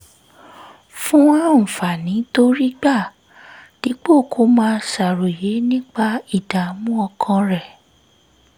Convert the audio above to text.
fún àǹfààní tó rí gbà dípò kó máa ṣàròyé nípa ìdààmú ọkàn rẹ̀